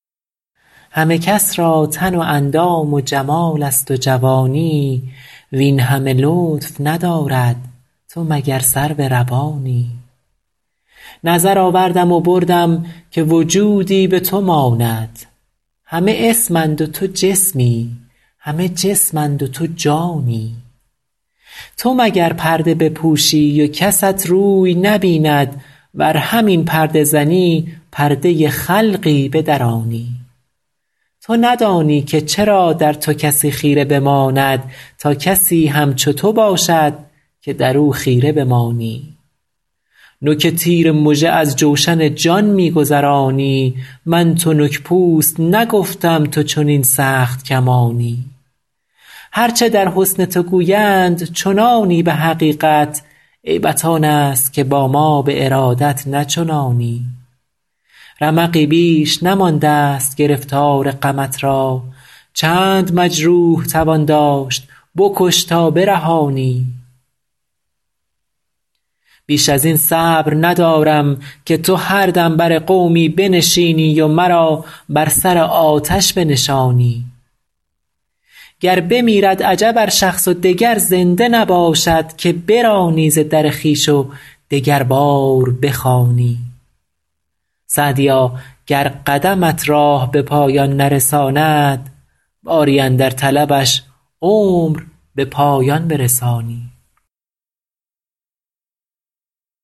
همه کس را تن و اندام و جمال است و جوانی وین همه لطف ندارد تو مگر سرو روانی نظر آوردم و بردم که وجودی به تو ماند همه اسم اند و تو جسمی همه جسم اند و تو جانی تو مگر پرده بپوشی و کست روی نبیند ور همین پرده زنی پرده خلقی بدرانی تو ندانی که چرا در تو کسی خیره بماند تا کسی همچو تو باشد که در او خیره بمانی نوک تیر مژه از جوشن جان می گذرانی من تنک پوست نگفتم تو چنین سخت کمانی هر چه در حسن تو گویند چنانی به حقیقت عیبت آن است که با ما به ارادت نه چنانی رمقی بیش نمانده ست گرفتار غمت را چند مجروح توان داشت بکش تا برهانی بیش از این صبر ندارم که تو هر دم بر قومی بنشینی و مرا بر سر آتش بنشانی گر بمیرد عجب ار شخص و دگر زنده نباشد که برانی ز در خویش و دگربار بخوانی سعدیا گر قدمت راه به پایان نرساند باری اندر طلبش عمر به پایان برسانی